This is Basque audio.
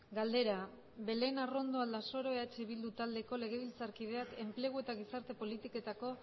galdera belén arrondo aldasoro eh bildu taldeko legebiltzarkideak enplegu eta gizarte politiketako